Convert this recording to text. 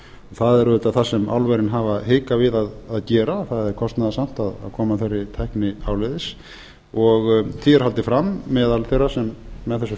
það er auðvitað það sem álverin hafa hikað við að gera það er kostnaðarsamt að koma þeirri tækni áleiðis því er haldið fram meðal þeirra sem með þessu